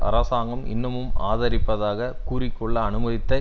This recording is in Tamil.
அரசாங்கம் இன்னமும் ஆதரிப்பதாக கூறிக்கொள்ள அனுமதித்த